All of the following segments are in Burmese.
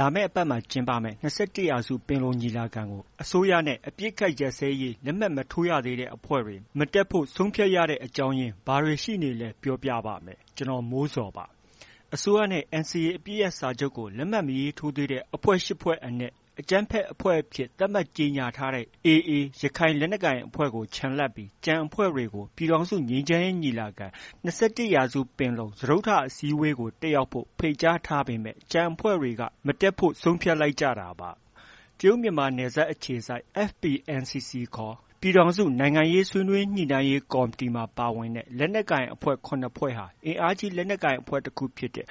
လာမယ့်အပတ်မှာ ကျင်းပမယ့် ၂၁ ရာစု ပင်လုံညီလာခံကို အစိုးရနဲ့ အပစ်အခတ်ရပ်စဲရေး လက်မှတ်မထိုးရသေးတဲ့အဖွဲ့တွေ မတက်ဖို့ ဆုံးဖြတ်ရတဲ့ အကြောင်းရင်း ဘာတွေရှိနေသလဲ ပြောပြပါမယ်။ ဗွီအိုအေမြန်မာပိုင်းသတင်းထောက် ကိုမိုးဇော်က သတင်းပေးပို့ထားပါတယ်။ အစိုးရနဲ့ NCA အပစ်ရပ်စာချုပ်ကို လက်မှတ် မရေးထိုးသေးတဲ့ အဖွဲ့ ရှစ် ဖွဲ့အနက် အကြမ်းဖက်အဖွဲ့အဖြစ် သတ်မှတ်ကြေညာထားတဲ့ AA ရခိုင်လက်နက်ကိုင်အဖွဲ့ကို ချန်လှပ်ပြီး ကျန်အဖွဲ့တွေကို ပြည်ထောင်စုငြိမ်းချမ်းရေး ညီလာခံ ၂၁ ရာစုပင်လုံကို တက်ရောက်ဖို့ ဖိတ်ကြားထားပေမဲ့ ကျန်အဖွဲ့တွေက မတက်ဖို့ ဆုံးဖြတ်လိုက်ကြတာပါ။ တရုတ်မြန်မာနယ်စပ်အခြေစိုက် FPNCC ခေါ် ပြည်ထောင်စု ဆွေးနွေးညှိနှိုင်းရေးကော်မတီမှာ ပါဝင်တဲ့ လက်နက်ကိုင်အဖွဲ့ ၇ ဖွဲ့ဟာ အင်အားကြီးလက်နက်ကိုင်အဖွဲ့တခုဖြစ်တဲ့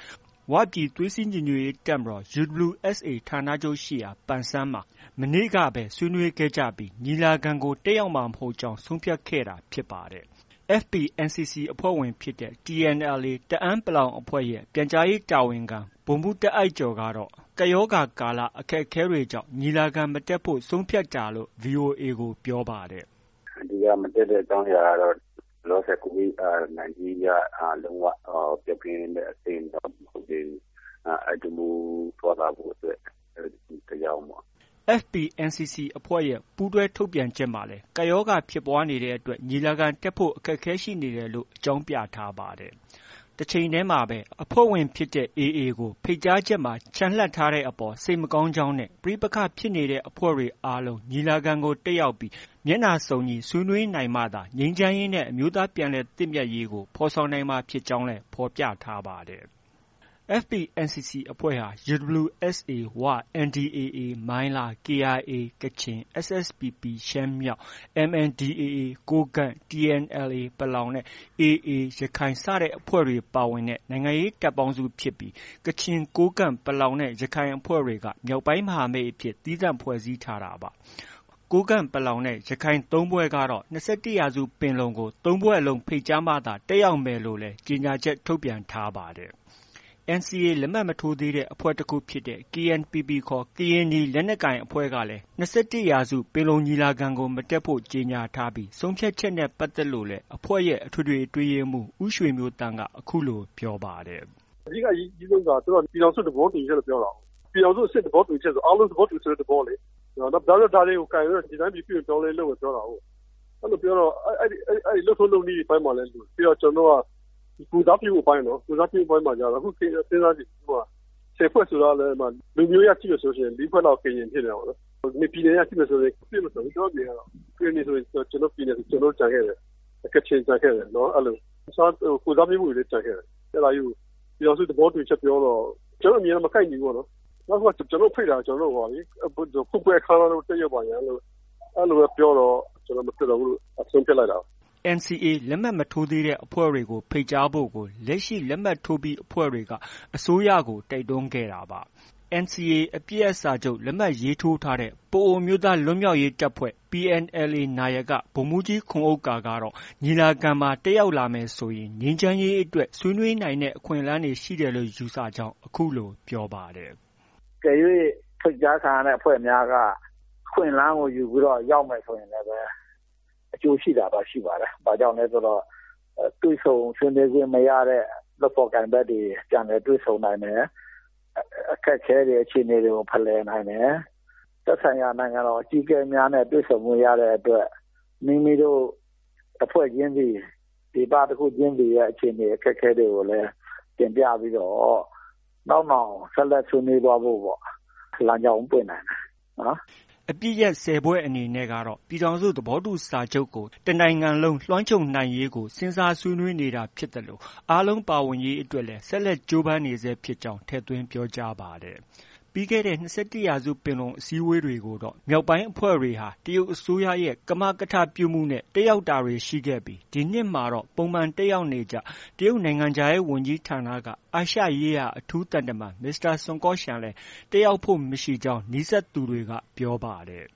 ဝပြည်သွေးစည်းညီညွှတ်ရေးတပ်ဖွဲ့ UWSA ဌာနချုပ်ရှိရာ ပန်ဆန်းမှာ မနေ့ကပဲ ဆွေးနွေးခဲ့ကြပြီး ညီလာခံကို တက်ရောက်မှာ မဟုတ်ကြောင်း ဆုံးဖြတ်ခဲ့တာ ဖြစ်ပါတယ်။ FPNCC အဖွဲ့ဝင်ဖြစ်တဲ့ TNLA တအန်း(ပလောင်) အဖွဲ့ရဲ့ ပြန်ကြားရေးတာဝန်ခံ ဗိုလ်မှူး တာ့အိုက်ကျော်ကတော့ ကပ်ရောဂါကာလ အခက်အခဲတွေကြောင့် ညီလာခံမတက်ဖို့ ဆုံးဖြတ်တာလို့ VOA ကို ပြောပါတယ်။ “အဓိက မတက်ရောက်တဲ့အကြောင်းကတော့ လောလောဆယ် COVID 19 က လုံး၀ ပျောက်ကင်းတဲ့ အဆင့်တော့ မဟုတ်သေးဘူး။ အဲဒါကြောင့် သွားလာဖို့အတွက် အခက်အခဲကြောင့်ပေါ့။” FPNCC အဖွဲ့ရဲ့ ပူးတွဲထုတ်ပြန်ချက်မှာလည်း ကပ်ရောဂါဖြစ်ပွားနေတဲ့အတွက် ညီလာခံတက်ဖို့ အခက်အခဲရှိနေတယ်လို့ အကြောင်းပြထားပါတယ်။ တချိန်တည်းမှာပဲ အဖွဲ့ဝင်ဖြစ်တဲ့ AA ကို ဖိတ်ကြားချက်မှာ ချန်လှပ်ထားတဲ့အပေါ် စိတ်မကောင်းကြောင်းနဲ့ ပဋိပက္ခဖြစ်နေတဲ့အဖွဲ့တွေအားလုံး ညီလာခံကို တက်ရောက်ပြီး မျက်နှာစုံညီဆွေးနွေးနိုင်မှသာ ငြိမ်းချမ်းရေးနဲ့ အမျိုးသား ပြန်လည်သင့်မြတ်ရေးကို ဖော်ဆောင်နိုင်မှာ ဖြစ်ကြောင်းလည်း ဖော်ပြထားပါတယ်။ FPNCC အဖွဲ့ဟာ UWSA ဝ၊ NDAA မိုင်းလား၊ KIA ကချင်၊ SSPP ရှမ်းမြောက်၊ MNDAA ကိုးကန့်၊ TNLA ပလောင်နဲ့ AA ရခိုင်အဖွဲ့တွေ ပါဝင်တဲ့ နိုင်ငံရေး တပ်ပေါင်းစုဖြစ်ပြီး ကချင်၊ ကိုးကန့်၊ ပလောင်နဲ့ ရခိုင်အဖွဲ့တွေက မြောက်ပိုင်းမဟာမိတ်အဖြစ် သီးသန့်ဖွဲ့စည်းထားတာပါ။ ကိုးကန့်၊ ပလောင် နဲ့ ရခိုင် ၃ ဖွဲ့ကတော့ ၂၁ ရာစုပင်လုံကို ၃ ဖွဲ့လုံးဖိတ်ကြားမှသာ တက်ရောက်မယ်လို့လည်း ကြေညာချက် ထုတ်ပြန်ထားပါတယ်။ NCA လက်မှတ် မထိုးသေးတဲ့ အဖွဲ့တစ်ခုဖြစ်တဲ့ KNPP ခေါ် ကရင်နီလက်နက်ကိုင်အဖွဲ့ကလည်း ၂၁ ရာစုပင်လုံညီလာခံမတက်ဖို့ ကြေညာထားပြီး၊ ဆုံးဖြတ်ချက်နဲ့ ပတ်သက်လို့လည်း အဖွဲ့ရဲ့ အထွေထွေအတွင်းရေးမှူး ဦးရွှေမျိုးသန့်က အခုလိုပြောပါတယ်။ “အဓိက အရေးကြီးဆုံးက သူတိုက ပြည်ထောင်စုသဘောတူညီချက်လို့ ပြောတာကိုး။ ပြည်ထောင်စုအဆင့် သဘောတူညီချက်ဆို အားလုံး သဘောတူတဲ့ သဘောလေ။ နောက်ပြီးတော့ ဒါတွေကို ကိုင်ပြီးတော့ ဒီတိုင်းပြည် ပြုပြင်ပြောင်းလဲရေး လုပ်မယ်ပြောတာကိုး။ အဲလိုပြောတော့ အဲဒီ လုပ်ထုံးလုပ်နည်းအပိုင်းများလည်း လိုတယ်။ နောက် ကျနော်တို့က ကိုယ်စားပြုမှုအပိုင်းနော်။ ကိုယ်စားပြုမှုအပိုင်းမှာ ခု စဉ်းစားကြည့် ၁၀ဖွဲ့ဆိုတာကလည်း လူမျိုးရေးအရ ကြည့်မယ်ဆို ၄ဖွဲ့လောက် ကရင် ဖြစ်နေတာပေါ့။ ပြည်နယ်အရ ကြည့်မယ်ဆို မပြည့်အစုံဘူး ကျနော့အမြင်အရတော့။ ကရင်နီဆိုရင် ကျနော်တို့ ပြည်နယ်ဆို ကျနော်တို့ ကျန်ခဲ့တယ်။ ကချင်ကျန်ခဲ့တယ် အဲလို။ တစ်ခြား ကိုယ်စားပြုမှုတွေလည်း ကျန်ခဲ့တယ်။ အဲဒါကြီးကို ပြည်ထောင်စု သဘောတူညီချက် ပြောတော့ ကျနော်တို့ အမြင်နဲ့ မကိုက်ညီဘူးပေါ့နော်။ နောက်တစ်ခုက ကျနော်တို့ဖိတ်တာက ဖွင့်ပွဲအခမ်းအနားသို့ တက်ရောက်ပါရန် အဲလိုပဲ ပြောတော့ ကျနော်တို့ မတက်တော့ဘူးလို့ ဆုံးဖြတ်လိုက်တာ။” NCA လက်မှတ်မထိုးသေးတဲ့အဖွဲ့တွေ ဖိတ်ကြားဖို့ကို လက်ရှိ လက်မှတ်ထိုးပြီး အဖွဲ့တွေက အစိုးရကို တိုက်တွန်းခဲ့တာပါ။ NCA အပစ်ရပ် လက်မှတ်ထိုးထားတဲ့ ပအိုဝ်းအမျိုးသားလွတ်မြောက်ရေးတပ်ဖွဲ့ PNLA နာယက ဗိုလ်မှူးကြီးခွန်ဥက္ကာကတော့ ညီလာခံမှာ တက်ရောက်လာမယ်ဆိုရင် ငြိမ်းချမ်းရေးအတွက် ဆွေးနွေးနိုင်တဲ့ အခွင့်အလမ်းရှိတယ်လို့ ယူဆကြောင်း အခုလို ပြောပါတယ်။ “အကယ်၍ ဖိတ်ကြားခံရတဲ့အဖွဲ့များက အခွင့်အလမ်းကို ယူပြီးတော့ ရောက်မယ်ဆိုရင် အကျိုးရှိတာတော့ ရှိပါတယ်။ ဘာလို့လဲဆိုတော့ တွေ့ဆုံဆွေးနွေးခွင့်မရတဲ့ လုပ်ဖော်ကိုင်ဖက်တွေ ပြန်လည်တွေ့ဆုံနိုင်တယ်။ အခက်အခဲတွေ အခြေအနေတွေကို ဖလှယ်နိုင်တယ်။ သက်ဆိုင်ရာနိုင်ငံတော် အကြီးအကဲများနဲ့ တွေ့ဆုံခွင့် ရတဲ့အတွက် မိမိတို့ တစ်ဖွဲ့ချင်းစီ၊ ဒေသတစ်ခုချင်းစီရဲ့ အခြေအနေ အခက်အခဲတွေကိုလည်း တင်ပြပြီးတော့ နောက်နောင် ဆက်လက် ဆွေးနွေးသွားဖို့ လမ်းကြောင်းပွင့်နိုင်တယ်နော်။” အပစ်ရပ် ၁၀ ဖွဲ့အနေနဲ့ကတော့ ပြည်ထောင်စု သဘောတူစာချုပ်ကို တနိုင်ငံလုံးလွှမ်းခြုံနိုင်ရေးကို စဉ်းစားဆွေးနွေးနေတာဖြစ်သလို အားလုံးပါဝင်ရေးအတွက် ဆက်လက် ကြိုးပမ်းနေဆဲဖြစ်ကြောင်း ထည့်သွင်းပြောကြားပါတယ်။ ပြီးခဲ့တဲ့ ၂၁ ရာစုပင်လုံ အစည်းအဝေးတွေကိုတော့ မြောက်ပိုင်းအဖွဲ့ဝင်တွေဟာ တရုတ်အစိုးရရဲ့ ကမကထ ပြုမှုနဲ့ တက်ရောက်တာတွေ ရှိခဲ့ပြီး ဒီနှစ်မှာတော့ ပုံမှန်တက်ရောက်နေကျ တရုတ်နိုင်ငံခြားရေးဝန်ကြီးဌာနက အာရှရေးရာ အထူးသံတမန် မစ္စတာ ဆွန်ကော့ရှန်လည်း တက်ရောက်ဖို့ မရှိကြောင်း နီးစပ်သူတွေက ပြောပါတယ်